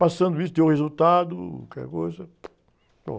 Passando isso, deu resultado, qualquer coisa. acabou.